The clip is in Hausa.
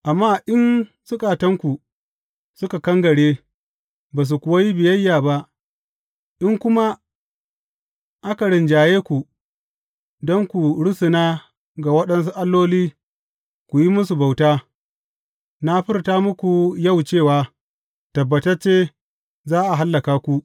Amma in zukatanku suka kangare, ba su kuwa yi biyayya ba, in kuma aka rinjaye ku don ku rusuna ga waɗansu alloli ku yi musu bauta, na furta muku yau cewa tabbatacce za a hallaka ku.